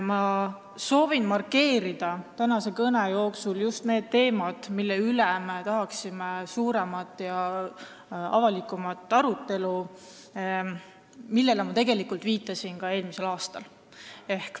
Ma soovin markeerida tänase kõne jooksul just neid teemasid, mille üle me tahaksime suuremat ja avalikumat arutelu, millele ma viitasin ka eelmisel aastal.